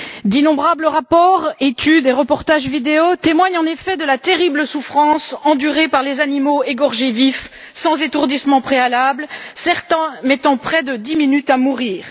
D'innombrables rapports, études et reportages vidéo témoignent en effet de la terrible souffrance endurée par les animaux égorgés vifs sans étourdissement préalable, certains mettant près de 10 minutes à mourir.